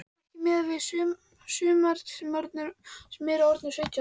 Ekki miðað við sumar sem eru orðnar sautján.